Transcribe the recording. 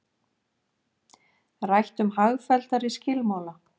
Rætt um hagfelldari skilmála